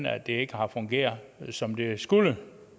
at det ikke har fungeret som det skulle